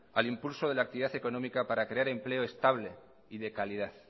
al impulso de la actividad económica para crear empleo estable y de calidad